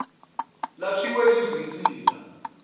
idplg lakhiwe yizinsika